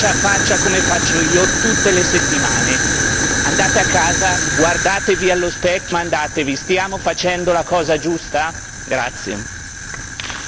Parlate con loro, tutte le settimane, faccia a faccia come faccio io tutte le settimane. Andate a casa, guardatevi allo specchio e domandatevi stiamo facendo la cosa giusta?